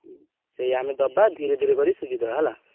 ହୁଁ ସେଇ ଆମେ ଦବା ଧୀରେ ଧୀରେ କରି ସୁଝିଦବା ହେଲା।